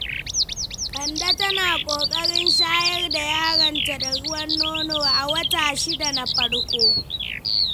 Kande tana ƙoƙarin shayar da yaronta da ruwan nono a wata 6 na farko.